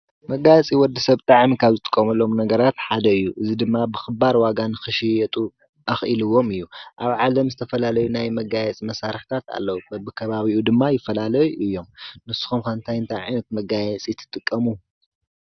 መጋየፂ ወዲሰብ ብጣዕሚ ካብ ዝጥቀመሎም ነገራት ሓደ እዩ እዚ ድማ ብክባር ዋጋ ንክሽየጥ ኣክኢልዊም እዩ። ኣብ ዓለም ዝተፈላለዩ ናይ መጋየፂ መሳርሕታት ኣለዉ በቢ ከባቢኡ ድማ ይፈላለዩ እዮም ንስኩም ከ እንታይ ዓይነት መጋየፂ ትጥቀሙ?